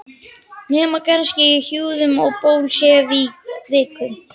Nema kannski hjá júðum og bolsévikum.